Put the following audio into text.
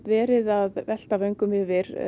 verið að velta vöngum yfir